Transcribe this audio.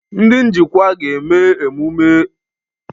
Ndị njikwa ga-eme ule nnabata echi